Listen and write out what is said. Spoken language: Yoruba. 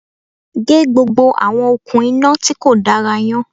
Gé gbogbo àwọn òkun iná tíkò dára yan